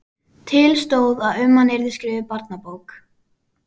Til stóð að um hann yrði skrifuð barnabók.